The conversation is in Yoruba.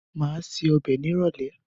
Má ṣe ọbẹ̀ ni ìrólé